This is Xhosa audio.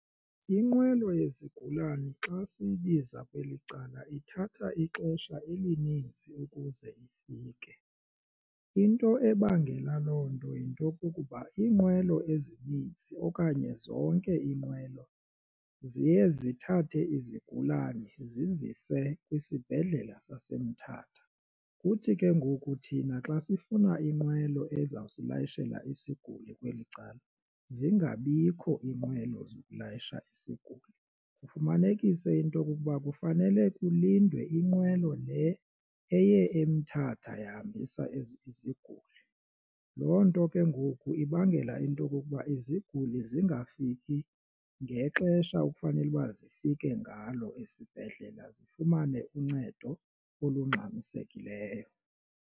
Inqwelo yezigulana xa siyibiza kweli cala ithatha ixesha elininzi ukuze ifike into ebangela loo nto yinto kukuba iinqwelo ezininzi okanye zonke iinqwelo ziye zithathe izigulane zizise kwisibhedlela saseMthatha. Kuthi ke ngoku thina xa sifuna inqwelo ezawusilayishela isiguli kweli cala zingabikho iinqwelo sokulayisha isiguli, kufumanekise into pkokuba kufanele kulindwe inqwelo le eye eMthatha yahambisa ezinye iziguli. Loo nto ke ngoku ibangela into okokuba iziguli zingafiki ngexesha ekufanele uba zifike ngalo esibhedlela zifumane uncedo olungxamisekileyo.